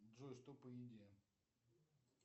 джой что по еде